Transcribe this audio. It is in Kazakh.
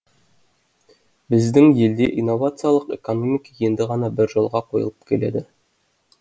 біздің елде инновациялық экономика енді ғана бір жолға қойылып келеді